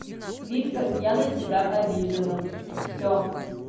вискас я на тебя обижена всё